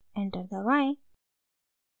enter दबाएं